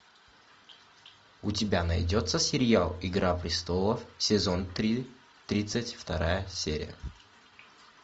у тебя найдется сериал игра престолов сезон три тридцать вторая серия